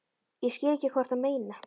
Ég skil ekki hvað þú ert að meina.